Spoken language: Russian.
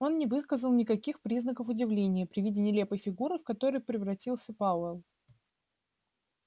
он не выказал никаких признаков удивления при виде нелепой фигуры в которую превратился пауэлл